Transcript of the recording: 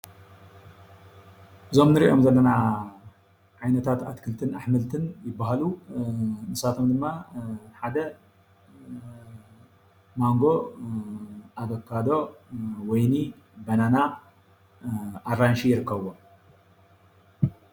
እዞም ንሪኦም ዘለና ዓይነታት ኣትክልትን ኣሕምልትን ይባሃሉ፡፡ ንሳቶም ድማ ሓደ ማንጎ፣ ኣቫካዶ፣ ወይኒ፣ በናና፣ ኣራንሺ ይርከብዎም፡፡